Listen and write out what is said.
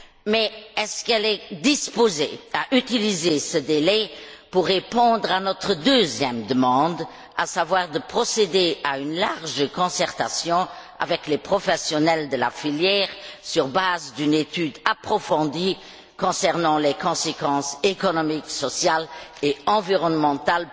Mais, est elle disposée à utiliser ce délai pour satisfaire notre deuxième demande, à savoir procéder à une large concertation avec les professionnels de la filière sur la base d'une étude approfondie concernant les éventuelles conséquences économiques, sociales et environnementales